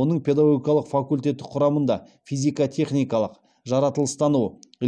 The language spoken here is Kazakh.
оның педагогикалық факультеті құрамында физико техникалық жаратылыстану